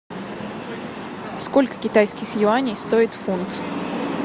сколько китайских юаней стоит фунт